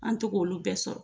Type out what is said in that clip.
An to k'olu bɛɛ sɔrɔ.